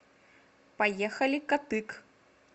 поехали катык